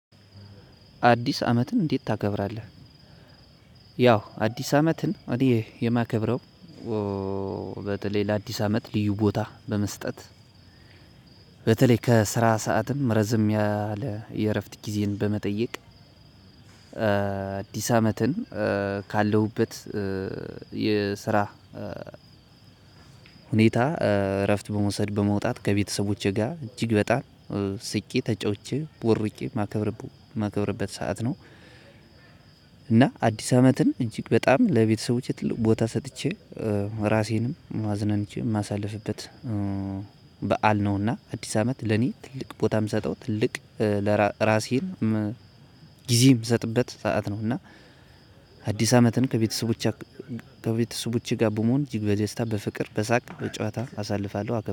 አዲስ አመትን እንዴት ታከብራለህ? ያው አዲስ አመትን እኔ የማከብረው በተለይ ለአዲስ አመት ልዩ ቦታ በመስጠት በተለይ ከስራ ሰዓትም ረዘም ያለ የእረፍት ጊዜን በመጠየቅ አዲስ አመትን ካለሁበት የስራ ሁኔታ እረፍት በመውሰድ በመውጣት ከቤተሰቦቼ ጋር እጅግ በጣም ስቄ ተጫውቼ ቦርቄ የማከብርበት ሰዓት ነው። እና አዲስ አመትን እጅግ በጣም ለቤተሰቦቼ ትልቅ ቦታ ሰጥቼ ራሴንም አዝናንቼም ማሳለፍበት በዓል ነውና አዲስ አመት ለኔ ትልቅ ቦታ የምሰጠው ትልቅ ለራሴን ጊዜ የምሰጥበት ሰዓት ነው። እና አዲስ አመትን ከቤተሰቦቼ ከቤተሰቦቼ ጋር በመሆን እጅግ በዜስታ በፍቅር በሳቅ በጨዋታ አሳልፋለሁ። አገባብኝ